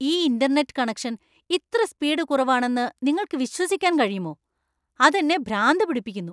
ഈ internet connection ഇത്ര speed കുറവാണെന്നു നിങ്ങൾക്ക് വിശ്വസിക്കാൻ കഴിയുമോ? അത് എന്നെ ഭ്രാന്ത് പിടിപ്പിക്കുന്നു !